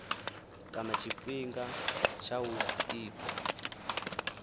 kana tshifhinga tsha u itwa